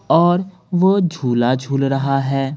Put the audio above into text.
और वो झूला झूल रहा है।